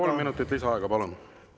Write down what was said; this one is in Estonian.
Kolm minutit lisaaega, palun!